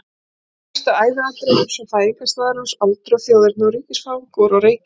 Helstu æviatriði eins og fæðingarstaður hans, aldur, þjóðerni og ríkisfang voru á reiki.